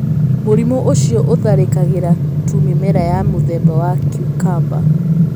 Mũrimũ ũcio ũtharĩkagĩra tu mĩmera ya mũthemba wa cucumber.